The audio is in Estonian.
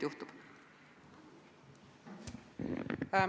Palun!